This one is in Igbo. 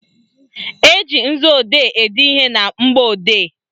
Eji nzuodee ede ihe na mgbọodee